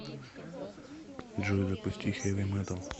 джой запусти хэви метал